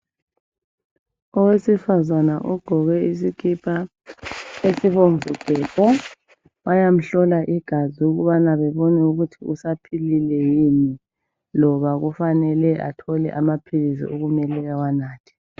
Owesifazana ogqoke isikipa esibomvu gebhu bayamhlola igazi ukubana bebone ukuthi usaphilile yini loba kufanele athole amaphilisi okumele awanathe.